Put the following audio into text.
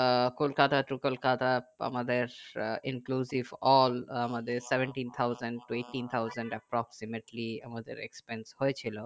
আহ Kolkata to Kolkata আমাদের স inclusive all আমাদের seventy thousand eighty thousand approximately আমাদের expenses হয়েছিল